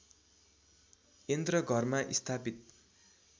यन्त्र घरमा स्थापित